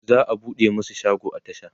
za'a buɗe masu shago a tasha